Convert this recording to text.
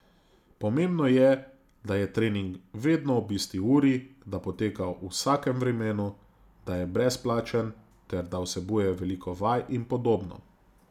Pomembno je, da je trening vedno ob isti uri, da poteka v vsakem vremenu, da je brezplačen ter da vsebuje veliko vaj in podobno.